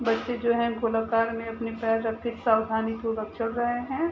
बच्चे जो है गोलाकार में अपने पैर रख के सावधानीपूर्वक चल रहे है।